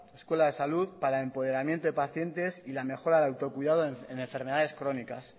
escuela de salud para el empoderamiento de pacientes y la mejora del autocuidado en enfermedades crónicas